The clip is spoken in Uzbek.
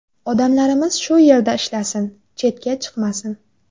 Odamlarimiz shu yerda ishlasin, chetga chiqmasin.